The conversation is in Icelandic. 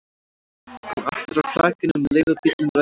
Kom aftur að flakinu um leið og bíllinn renndi að því.